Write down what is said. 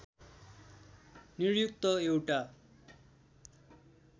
नियुक्त एउटा